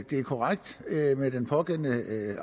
det er korrekt at med den pågældende